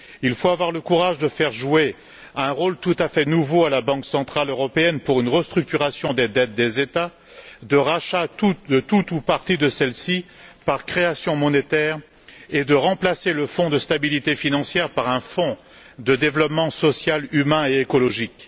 Il faut avoir le courage de confier un rôle tout à fait nouveau à la Banque centrale européenne, consistant à restructurer les dettes des États, et à assurer le rachat de tout ou partie de celles ci par création monétaire, et de remplacer le fonds de stabilité financière par un fonds de développement social, humain et écologique.